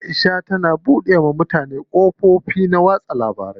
Aisha tana buɗe wa mutane kafofin watsa labaru.